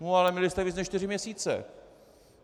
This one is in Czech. No ale měli jste více než čtyři měsíce.